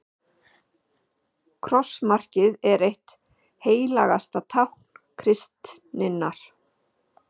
krossmarkið er eitt helgasta tákn kristninnar